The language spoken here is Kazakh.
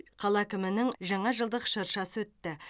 қала әкімінің жаңа жылдық шыршасы өтті